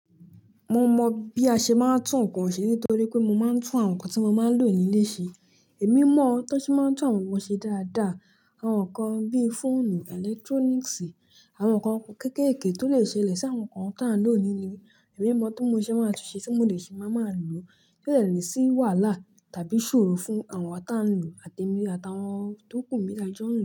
Mo mọ bí a ṣe máa ń tún nǹkan ṣe nítorí pé mo máa ń tún àwọn nǹkan tí mo máa ń lò nílé ṣe. Ẹ̀mí mọ̀ ọ́n tó ṣe máa ń tún àwọn nǹkan ṣe dáadáa. Àwọn nǹkan bí í fóònù, electronics, àwọn nǹkan kéékèèké tó le ṣe lẹ̀ sí àwọn nǹkan tí a ń lò nilé. Ẹ̀mí mọ̀ tó mo ṣẹ́ máa tún ṣe tí mo le ṣi máa máa lò ti o ni sí wàhálà tàbí iṣòro fún àwa ta ń lò àtemi atàwọn tó kù mí ta jọ n lo.